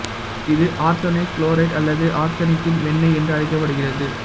இது arsenous chloride அல்லது ஆர்சனிக்கின் வெண்ணெய் என்றும் அழைக்கப்படுகிறது